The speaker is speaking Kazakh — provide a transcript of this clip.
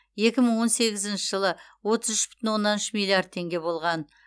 екі мың он сегізінші жылы отыз үш бүтін оннан үш миллиард теңге болған